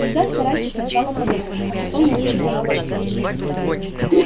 всегда старайся сначала подумать а потом лучше промолчи